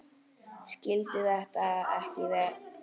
Skildi þetta ekki.